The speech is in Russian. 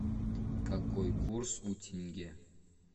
какой курс у тенге